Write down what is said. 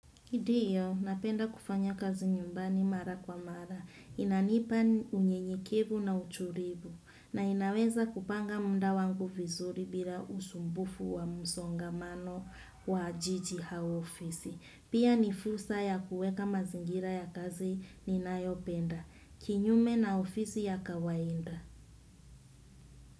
Ndiyo, napenda kufanya kazi nyumbani mara kwa mara. Inanipa unyenyekevu na utulivu. Na inaweza kupanga muda wangu vizuri bila usumbufu wa msongamano wa jiji au ofisi. Pia nifursa ya kuweka mazingira ya kazi ni nayo penda. Kinyume na ofisi ya kawaida.